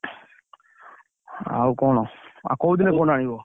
ଆଉ କଣ ଆଉ କୋଉ ଦିନ phone ଆଣିବ?